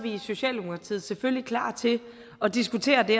i socialdemokratiet selvfølgelig klar til at diskutere det